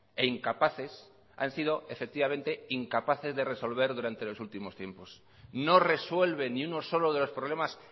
e incapaces han sido efectivamente incapaces de resolver durante los últimos tiempos no resuelven ni uno solo de los problemas